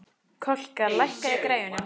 Kolka, lækkaðu í græjunum.